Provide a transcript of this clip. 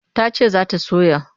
Ta ce za ta soya.